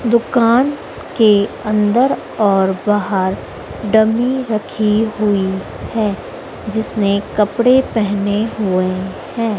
दुकान के अंदर और बाहर डमी रखी हुई है जिसने कपड़े पहने हुए हैं।